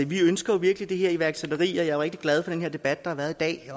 vi ønsker virkelig det her iværksætteri og jeg er rigtig glad for den debat der har været i dag